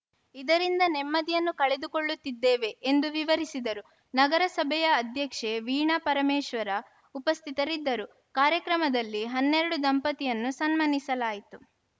ಇದರಿಂದ ನೆಮ್ಮದಿಯನ್ನು ಕಳೆದುಕೊಳ್ಳುತ್ತಿದ್ದೇವೆ ಎಂದು ವಿವರಿಸಿದರು ನಗರಸಭೆಯ ಅಧ್ಯಕ್ಷೆ ವೀಣಾ ಪರಮೇಶ್ವರ ಉಪಸ್ಥಿತರಿದ್ದರು ಕಾರ್ಯಕ್ರಮದಲ್ಲಿ ಹನ್ನೆರಡು ದಂಪತಿಯನ್ನು ಸನ್ಮಾನಿಸಲಾಯಿತು